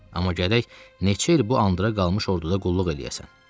Amma gərək neçə il bu andıra qalmış orduda qulluq eləyəsən.